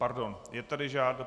Pardon, je tady žádost ...